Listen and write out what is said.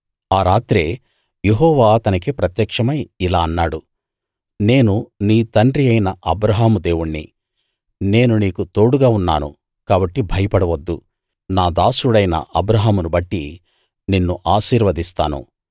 ఆ రాత్రే యెహోవా అతనికి ప్రత్యక్షమై ఇలా అన్నాడు నేను నీ తండ్రి అయిన అబ్రాహాము దేవుణ్ణి నేను నీకు తోడుగా ఉన్నాను కాబట్టి భయపడవద్దు నా దాసుడైన అబ్రాహామును బట్టి నిన్ను ఆశీర్వదిస్తాను నీ సంతానాన్ని అత్యధికం చేస్తాను